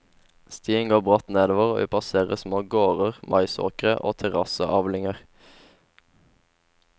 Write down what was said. Stien går bratt nedover og vi passerer små gårder, maisåkre og terrasseavlinger.